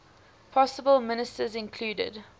possible ministers included